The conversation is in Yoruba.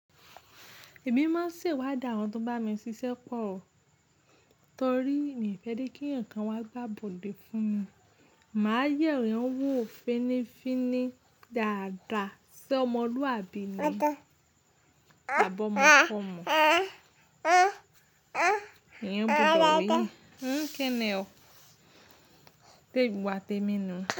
Èmi máa ń ṣèwádi àwon tó ń bá mi ṣiṣẹ́ pọ̀ o, torí mi fẹ́ di kí iyànkan wá gbà bọ̀dé fún mi. Màá yẹ̀ eeyan wò fínnífínní dáadáa s'ọmọlúàbí nii, àbọ̀ ọmọ kọmọ, èèyàn gbúdọ̀ ni, kíni o, pé ìwa temí nu.